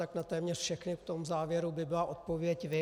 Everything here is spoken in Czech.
Tak na téměř všechny v tom závěru by byla odpověď vy.